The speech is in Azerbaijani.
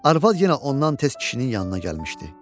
Arvad yenə ondan tez kişinin yanına gəlmişdi.